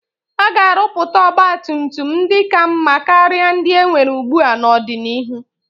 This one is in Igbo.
A ga-arụpụta ọgba tum tum ndị ka mma karịa ndị enwere ugbua n'ọdịnihu.